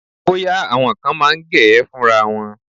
Bóyá, àwọn kan máa ń gẹ̀ ẹ́ fúnra wọn.